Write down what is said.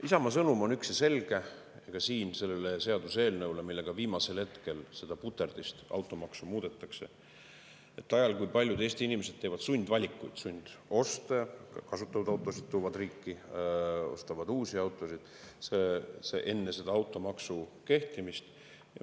Isamaa sõnum on üks ja selge ka siin selle seaduseelnõu puhul, millega viimasel hetkel seda puterdist, automaksu, muudetakse ajal, kui paljud Eesti inimesed teevad sundvalikuid, sundoste, toovad kasutatud autosid riiki, ostavad uusi autosid enne automaksu kehtima hakkamist.